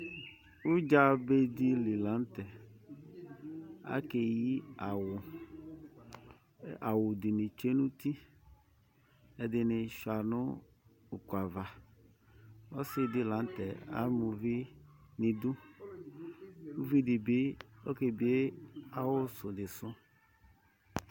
udza be di li la n'tɛ k'aka eyi awù, awù di ni tsue n'uti ɛdini sua n'uku ava Ɔsi di la n'tɛ ama uvì n' idú ,k'uvi di bi k'ebie awù ni su